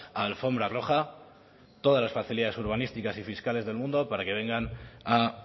alfombra roja todas las facilidades urbanísticas y fiscales del mundo para que vengan a